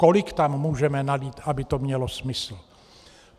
Kolik tam můžeme nalít, aby to mělo smysl.